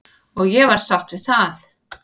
Og ég var sátt við það.